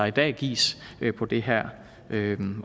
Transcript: i dag gives på det her